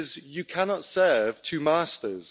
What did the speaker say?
Because you cannot serve two masters.